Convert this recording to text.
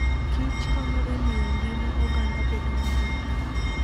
Kich konyo e miyo ngima oganda bedo maber.